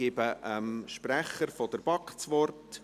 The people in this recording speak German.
Ich gebe dem Sprecher der BaK das Wort.